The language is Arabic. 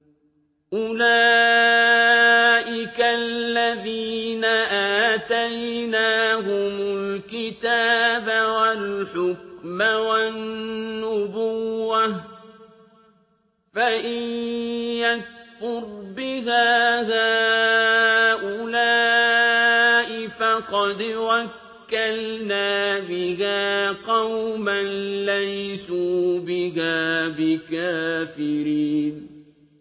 أُولَٰئِكَ الَّذِينَ آتَيْنَاهُمُ الْكِتَابَ وَالْحُكْمَ وَالنُّبُوَّةَ ۚ فَإِن يَكْفُرْ بِهَا هَٰؤُلَاءِ فَقَدْ وَكَّلْنَا بِهَا قَوْمًا لَّيْسُوا بِهَا بِكَافِرِينَ